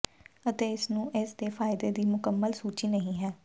ਅਤੇ ਇਸ ਨੂੰ ਇਸ ਦੇ ਫਾਇਦੇ ਦੀ ਮੁਕੰਮਲ ਸੂਚੀ ਨਹੀ ਹੈ